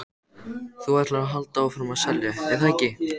Þú ætlar að halda áfram að selja, er það ekki?